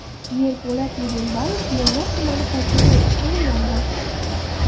Yerpolat Yedenbayev Mo‘ynoq tumani hokimi etib tayinlandi.